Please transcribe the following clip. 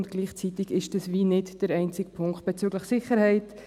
Und gleichzeitig ist das nicht der einzige Punkt bezüglich Sicherheit.